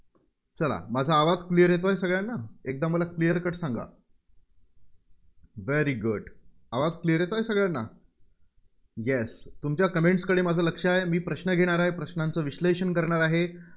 चला, माझा आवाज clear येतोय सगळ्यांना. एकदा मला clear cut सांगा. very good आवाज clear येतोय सगळ्यांना? yes तुमच्या comment कडे माझं लक्ष आहे. मी प्रश्न घेणार आहे, प्रश्नांचं विश्लेषण करणार आहे.